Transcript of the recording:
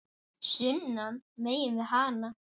sunnan megin við hana.